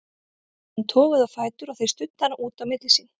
Þá var hún toguð á fætur og þeir studdu hana út á milli sín.